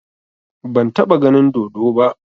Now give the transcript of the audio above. Ban taɓa ganin dodo ba